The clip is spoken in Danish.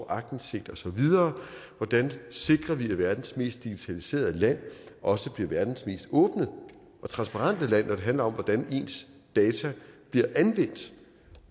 aktindsigt osv hvordan sikrer vi at verdens mest digitaliserede land også bliver verdens mest åbne og transparente land når det handler om hvordan ens data bliver anvendt